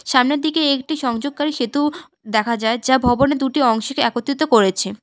সামনের দিকে একটি সংযোগকারী সেতু দেখা যায় যা ভবনের দুটি অংশকে একত্রিত করেছে।